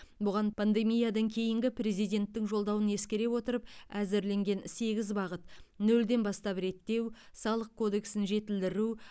бұған пандемиядан кейінгі президенттің жолдауын ескере отырып әзірленген сегіз бағыт нөлден бастап реттеу салық кодексін жетілдіру